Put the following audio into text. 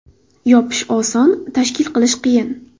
Yopish oson, tashkil qilish qiyin.